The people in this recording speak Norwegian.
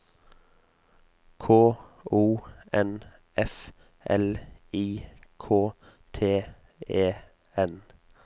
K O N F L I K T E N